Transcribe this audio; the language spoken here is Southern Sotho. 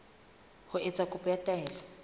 ho etsa kopo ya taelo